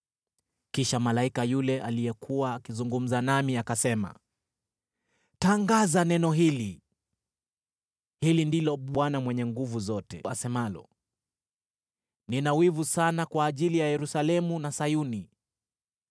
Kisha malaika yule aliyekuwa akizungumza nami akasema, “Tangaza neno hili: Hili ndilo Bwana Mwenye Nguvu Zote asemalo: ‘Nina wivu sana kwa ajili ya Yerusalemu na Sayuni,